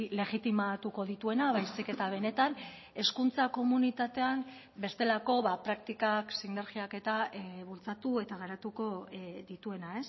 legitimatuko dituena baizik eta benetan hezkuntza komunitatean bestelako praktikak sinergiak eta bultzatu eta garatuko dituena